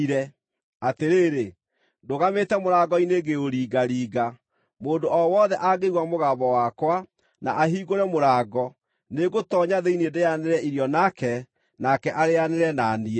Atĩrĩrĩ, ndũgamĩte mũrango-inĩ ngĩũringaringa. Mũndũ o wothe angĩigua mũgambo wakwa, na ahingũre mũrango, nĩngũtoonya thĩinĩ ndĩĩanĩre irio nake, nake arĩĩanĩre na niĩ.